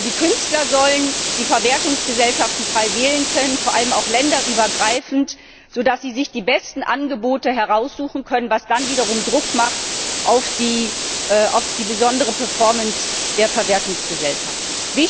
Die Künstler sollen die Verwertungsgesellschaften frei wählen können, vor allem auch länderübergreifend, sodass sie sich die besten Angebote heraussuchen können, was dann wiederum Druck macht auf die besondere Performance der Verwertungsgesellschaften.